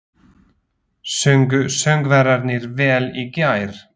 Sungu söngvararnir vel í gær?